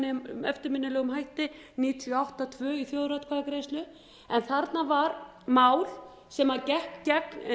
það með eftirminnilegum hætti níutíu og átta tvö í þjóðaratkvæðagreiðslu en þarna var mál sem gekk gegn